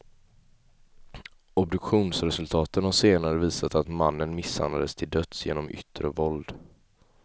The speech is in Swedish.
Obduktionsresultaten har senare visat att mannen misshandlades till döds genom yttre våld.